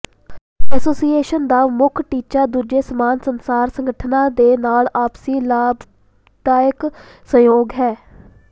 association ਦਾ ਮੁੱਖ ਟੀਚਾ ਦੂਜੇ ਸਮਾਨ ਸੰਸਾਰ ਸੰਗਠਨਾਂ ਦੇ ਨਾਲ ਆਪਸੀ ਲਾਭਦਾਇਕ ਸਹਿਯੋਗ ਹੈ